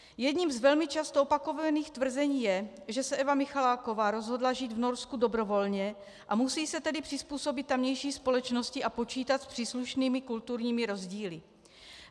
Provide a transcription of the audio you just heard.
Jedním z velmi často opakovaných tvrzení je, že se Eva Michaláková rozhodla žít v Norsku dobrovolně, a musí se tedy přizpůsobit tamější společnosti a počítat s příslušnými kulturními rozdíly.